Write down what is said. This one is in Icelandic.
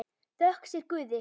Þökk sé þér, Guði!